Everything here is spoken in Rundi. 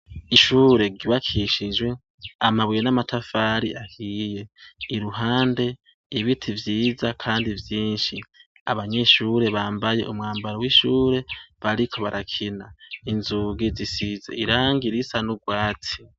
Ishure gibakishijwe amabuye n'amatafari ahiye iruhande ibiti vyiza, kandi vyinshi abanyishure bambaye umwambaro w'ishure bariko barakina inzugi zisize iranga irisa n'urwatsi.